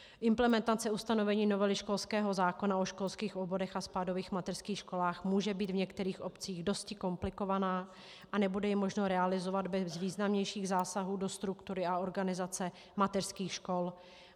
Implementace ustanovení novely školského zákona o školských oborech a spádových mateřských školách může být v některých obcích dosti komplikovaná a nebude ji možno realizovat bez významnějších zásahů do struktury a organizace mateřských škol.